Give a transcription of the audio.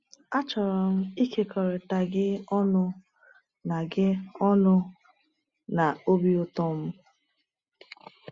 “Achọrọ m ịkekọrịta gị ọṅụ na gị ọṅụ na obi ụtọ m.